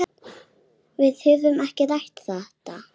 Við höfum ekki rætt þetta.